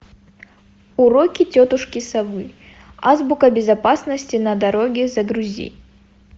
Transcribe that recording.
уроки тетушки совы азбука безопасности на дороге загрузи